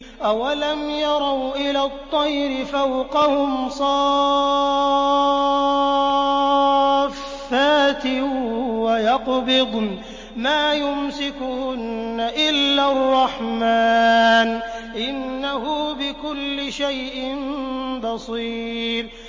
أَوَلَمْ يَرَوْا إِلَى الطَّيْرِ فَوْقَهُمْ صَافَّاتٍ وَيَقْبِضْنَ ۚ مَا يُمْسِكُهُنَّ إِلَّا الرَّحْمَٰنُ ۚ إِنَّهُ بِكُلِّ شَيْءٍ بَصِيرٌ